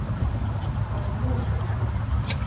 Það er núna!